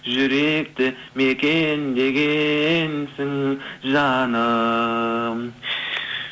жүректі мекендегенсің жаным